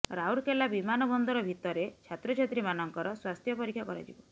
ରାଉରକେଲା ବିମାନବନ୍ଦର ଭିତରେ ଛାତ୍ରଛାତ୍ରୀ ମାନଙ୍କର ସ୍ୱାସ୍ଥ୍ୟ ପରୀକ୍ଷା କରାଯିବ